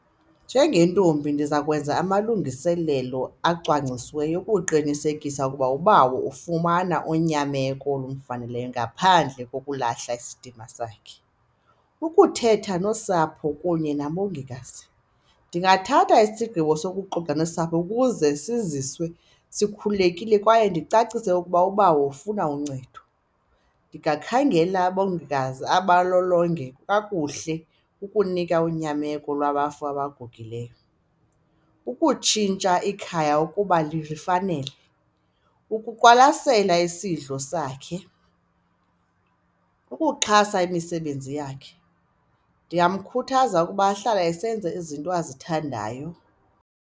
Njengentombi ndiza kwenza amalungiselelo acwangcisiweyo ukuqinisekisa ukuba ubawo ufumana unyameko olufaneleyo ngaphandle kokulala isidima sakhe. Ukuthetha nosapho kunye nabongikazi ndingathatha isigqibo sokuxoxa nosapho ukuze siziswe sikhululekile kwaye ndicacise ukuba ubawo ufuna uncedo. Ndingakhangela abongikazi abalolonge kakuhle ukunika unyameko lwabafo abangugileyo. Ukutshintsha ikhaya ukuba lilifanele, ukuqwalasela isidlo sakhe, ukuxhasa imisebenzi yakhe, ndingamkhuthaza ukuba ahlale esenza izinto azithandayo.